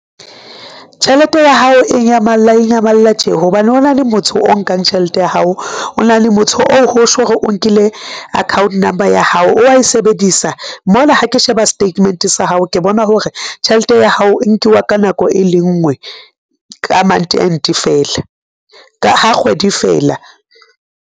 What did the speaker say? Tjhelete ya hao e nyamalla e nyamalla tje. Hobane ho na le motho o nkang tjhelete ya hao, o na le motho o ho tjho re o nkile account number ya hao o wa e sebedisa mona ha ke sheba statement sa hao, ke bona hore tjhelete ya hao e nkuwa ka nako e le nngwe ka month end feela, ka ha kgwedi e feela.